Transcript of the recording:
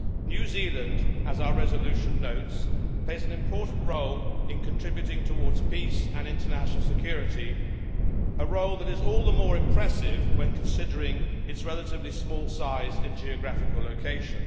New Zealand, as our resolution notes, plays an important role in contributing towards peace and international security, a role that is all the more impressive when considering its relatively small size and geographical location.